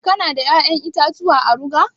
Ka na da ya'yan itatuwa a rage?